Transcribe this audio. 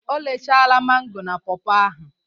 O rechaala mango na pọọpọ ahụ